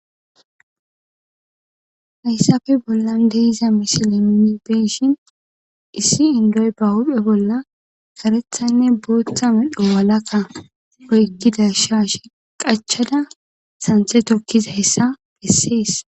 Hayssappe bollan de'iza misile nuun beyishin issi indoy ba huphphe bolla kareththanne booththa medho walakka oykida shashshe qaachchadda sanththe tookizayssa besses